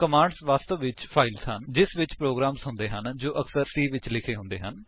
commands ਵਾਸਤਵ ਵਿੱਚ files ਹਨ ਜਿਸ ਵਿੱਚ ਪ੍ਰੋਗਰਾਮਸ ਹੁੰਦੇ ਹਨ ਜੋ ਅਕਸਰ C ਵਿੱਚ ਲਿਖੇ ਹੁੰਦੇ ਹਨ